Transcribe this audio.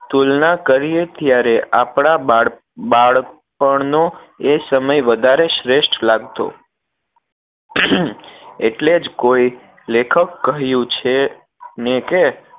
તુલના કરીએ ત્યારે આપણાં બાળ બાળપણ નો એ સમય વધારે શ્રેષ્ઠ લાગતો ઍટલે જ કોઈ લેખક કહ્યું છે ને કે